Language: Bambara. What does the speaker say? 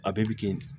A bɛɛ bɛ kɛ yen